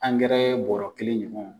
bɔrɔ kelen ɲɔgɔn.